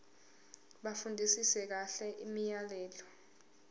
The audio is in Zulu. bafundisise kahle imiyalelo